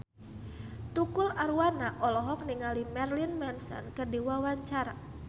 Tukul Arwana olohok ningali Marilyn Manson keur diwawancara